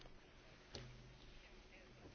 Il resto verrà dopo e lo decideremo insieme.